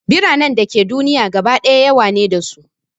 Biranen da ke duniya gaba ɗaya yawa ne da su